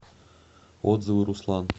отзывы руслан